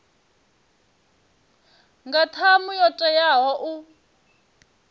nga ṱhamu yo teaho u